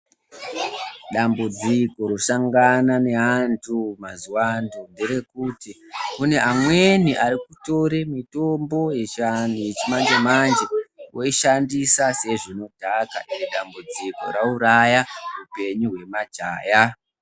Dambudziko rosangana neandu mazuva ano nderekuti kune amweni arikutora mitombo yechiantu yechimanje manje voishandisa sezvinodhaka iri dambudziko rauraya upenyu hwemajaha.